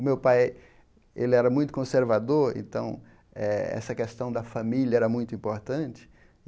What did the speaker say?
O meu pai, ele era muito conservador, então essa questão da família era muito importante.